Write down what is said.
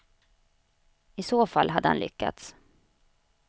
I så fall hade han lyckats.